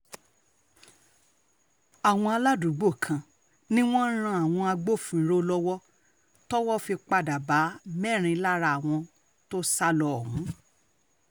àwọn aládùúgbò kan ni wọ́n ran àwọn agbófinró lọ́wọ́ tówó fi padà bá mẹ́rin lára àwọn tó sá lo ohùn